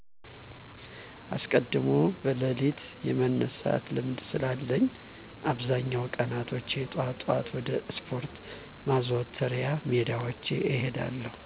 አስቀድሞ በለሊት የመነሳት ልምድ ስላለኝ አብዛኛውን ቀናቶች ጧጧት ወደ ስፓርት ማዘውተሪያ ሜዳወች እሄዳለሁ።